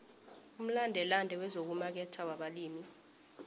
umlandelande wezokumaketha wabalimi